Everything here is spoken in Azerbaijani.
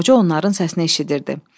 Qoca onların səsini eşidirdi.